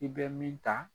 I bɛ min ta